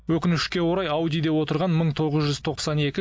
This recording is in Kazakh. өкінішке орай аудиде көлігінде отырған мың тоғыз жүз тоқсан екі